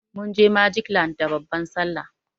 Munje magic land da babban sallah.